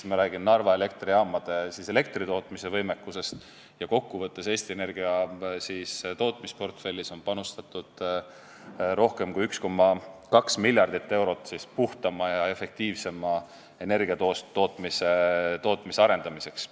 Kokkuvõttes on Eesti Energia tootmisportfellis panustatud rohkem kui 1,2 miljardit eurot puhtama ja efektiivsema energiatootmise arendamiseks.